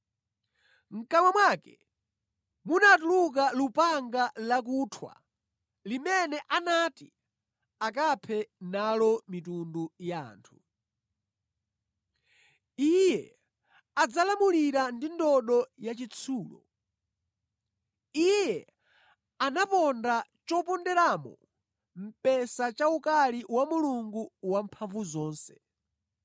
Mʼkamwa mwake munatuluka lupanga lakuthwa limene anati akaphe nalo mitundu ya anthu. Iye adzalamulira ndi ndodo yachitsulo. Iye anaponda choponderamo mphesa cha ukali wa Mulungu Wamphamvuzonse.